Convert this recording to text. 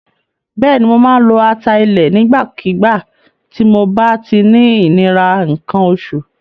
Bẹ́ẹ̀ni, mo máa ń lo ata ilẹ̀ nígbàkígbà tí mob á ti ń ní ìnira nǹkan oṣù.